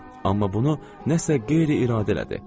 Amma bunu nəsə qeyri-iradəli idi.